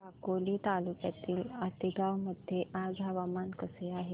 साकोली तालुक्यातील आतेगाव मध्ये आज हवामान कसे आहे